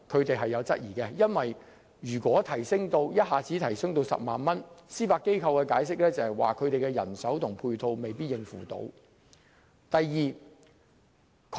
第一，如果一下子把限額提高至10萬元，司法機構的人手及配套未必能應付，從而影響機構運作。